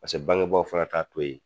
Paseke bangebaa fana t'a to yen.